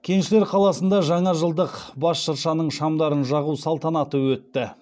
кеншілер қаласында жаңа жылдық бас шыршаның шамдарын жағу салтанаты өтті